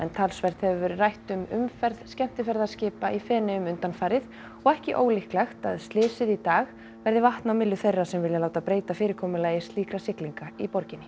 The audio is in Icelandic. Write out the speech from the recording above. talsvert hefur verið rætt um umferð skemmtiferðaskipa í Feneyjum undanfarið og ekki ólíklegt að slysið í dag verði vatn á myllu þeirra sem vilja láta breyta fyrirkomulagi slíkra siglinga í borginni